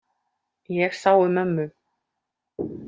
Ég sá um ömmu.